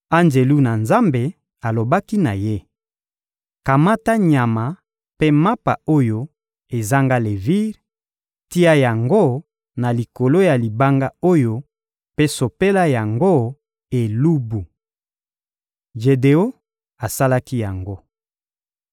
Anjelu na Nzambe alobaki na ye: — Kamata nyama mpe mapa oyo ezanga levire, tia yango na likolo ya libanga oyo mpe sopela yango elubu. Jedeon asalaki yango.